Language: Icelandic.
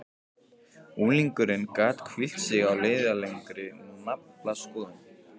Unglingurinn gat hvílt sig á leiðinlegri naflaskoðun.